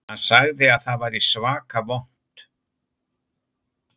Hann sagði að það væri svaka vont